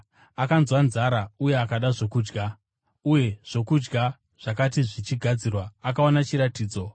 Akanzwa nzara uye akada zvokudya, uye zvokudya zvakati zvichigadzirwa, akaona chiratidzo.